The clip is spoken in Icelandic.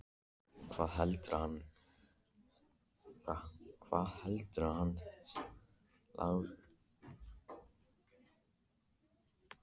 Hvað heldurðu að hann Lási segði, ha, Lóa-Lóa, kallaði hún.